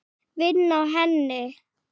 Vinn á henni.